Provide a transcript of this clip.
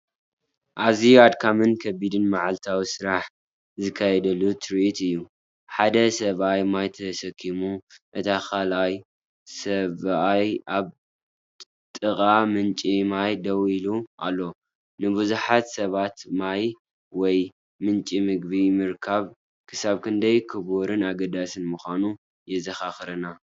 ኣዝዩ ኣድካምን ከቢድን መዓልታዊ ስራሕ ዝካየደሉ ትርኢት እዩ! ሓደ ሰብኣይ ማይ ተሰኪሙ፣ እቲ ካልኣይ ሰብኣይ ኣብ ጥቓ ምንጪ ማይ ደው ኢሉ ኣሎ። ንብዙሓት ሰባት ማይ ወይ ምንጪ መግቢ ምርካብ ክሳብ ክንደይ ክቡርን ኣገዳስን ምዃኑ የዘኻኽረና።